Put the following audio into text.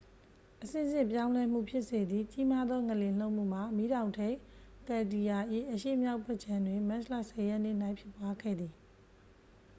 အဆင့်ဆင့် ပြောင်းလဲမှု ဖြစ်စေသည့် ကြီးမားသော ငလျင် လှုပ်မှုမှာ မီးတောင်ထိပ် ကယ်လ်ဒီယာ၏ အရှေ့မြောက်ဘက်ခြမ်းတွင် မတ်လ 10 ရက်နေ့၌ ဖြစ်ပွားခဲ့သည်